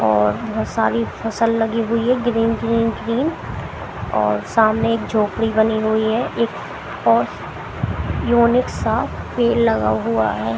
और बहोत सारी फसल लगी हुई है ग्रीन ग्रीन ग्रीन और सामने एक झोपड़ी बनी हुई है एक और यूनिक सा पेड़ लगा हुआ है।